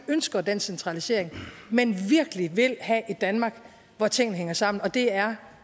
ønsker den centralisering men virkelig vil have et danmark hvor tingene hænger sammen og det er